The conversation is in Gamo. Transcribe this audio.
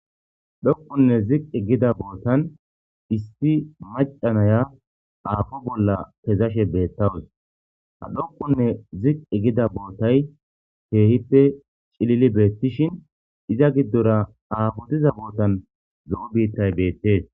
dhoqonne ziqqi gida bootan issi macanaya aafo bolla kezashe beettawus ha dhoqunne ziqqi gida bootay teehippe cilili beettishin iza giddora aafotiza bootan zo7o biittay beettees